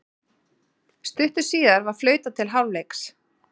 Stuttu síðar var flautað til hálfleiks.